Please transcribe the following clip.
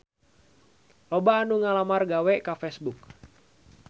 Loba anu ngalamar gawe ka Facebook